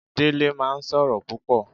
Dele máa ń sọ̀rọ̀ púpò